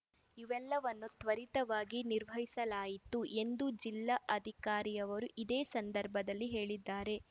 ಇವೆಲ್ಲವನ್ನು ತ್ವರಿತವಾಗಿ ನಿರ್ವಹಿಸಲಾಯಿತು ಎಂದು ಜಿಲ್ಲಾಧಿಕಾರಿಯವರು ಇದೇ ಸಂದರ್ಭದಲ್ಲಿ ಹೇಳಿದ್ದಾರೆ